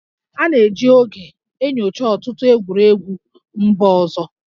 A na-eji oge enyocha ọtụtụ egwuregwu mba ọzọ